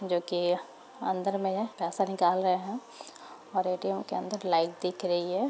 जो कि अंदर में है पैसा निकाल रहे है और ए_टी_एम के अंदर लाइट दिख रही है।